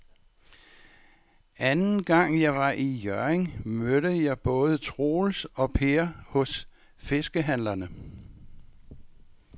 Anden gang jeg var i Hjørring, mødte jeg både Troels og Per hos fiskehandlerne.